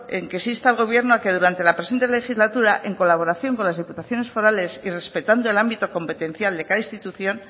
en que se insta al gobierno en que durante la presente legislatura en colaboración con las diputaciones forales y respetando el ámbito competencial de cada institución